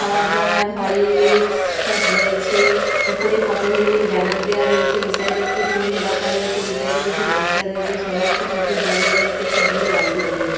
খাবারদাবার Horlicks স- সব রয়েছে উপরে পতঞ্জলি ব্যানার দেওয়া রয়েছে এই সাইড এ একটি টুল রাখা রয়েছে এই সাইড এ কিছু বস্তা রয়েছে সামনের একটি কুকুর দাঁড়িয়ে রয়েছে একটি ব্লু বালতি দেখা যা--